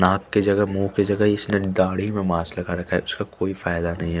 नाक की जगह मु के जगह इसमें दाढ़ी पे मास्क लगा रखा है छ कोई फ़ायदा नहीं है ।